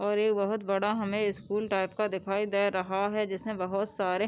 और ये बहोत बड़ा हमे स्कूल टाइप का दिखाई दे रहा है जिसमे बहोत सारे --